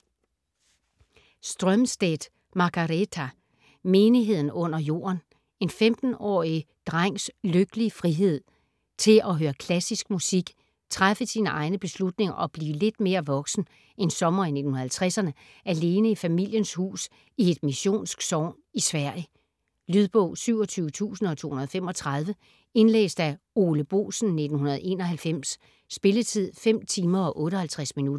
Strömstedt, Margareta: Menigheden under jorden En 15-årig drengs lykkelige frihed til at høre klassisk musik, træffe egne beslutninger og blive lidt mere voksen, en sommer i 1950'erne, alene i familiens hus i et missionsk sogn i Sverige. Lydbog 27235 Indlæst af Ole Boesen, 1991. Spilletid: 5 timer, 58 minutter.